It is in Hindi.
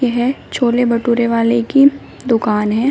ये छोले भटूरे वाले की दुकान है।